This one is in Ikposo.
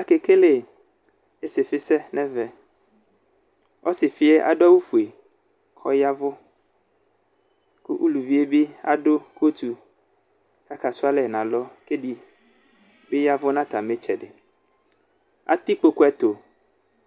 Akekele isifi sɛ nʋ ɛvɛ ɔsifi yɛ adʋ awʋfue kʋ ɔyavʋ kʋ ʋlʋvi yɛ adʋ kotu kʋ akasʋ alɛ nʋ alɔ kʋ edibi ya ɛvʋ nʋ atami itsɛdi atɛ ikpokʋ ɛtʋ